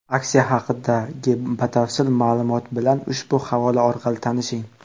Aksiya haqidagi batafsil ma’lumot bilan ushbu havola orqali tanishing.